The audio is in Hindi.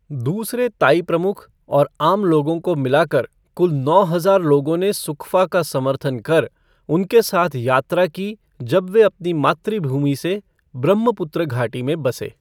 दूसरे ताई प्रमुख और आम लोगों को मिला कर कुल नौ हज़ार लोगों ने सुकफा का समर्थन कर, उनके साथ यात्रा की जब वे अपने मातृभूमि से ब्रह्मपुत्र घाटी में बसे।